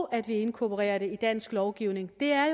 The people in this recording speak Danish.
at vi inkorporerer det i dansk lovgivning er